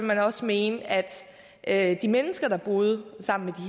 man også mene at at de mennesker der boede sammen